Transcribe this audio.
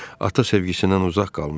Ata sevgisindən uzaq qalmışdı.